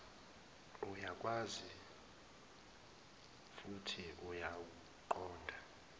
uyakwazi futhi uyakuqonda